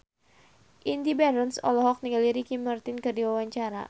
Indy Barens olohok ningali Ricky Martin keur diwawancara